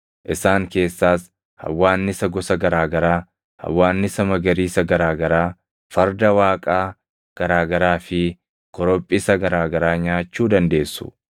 Isaan keessaas hawwaannisa gosa garaa garaa, hawwaannisa magariisa garaa garaa, farda waaqaa garaa garaa fi korophisa garaa garaa nyaachuu dandeessu.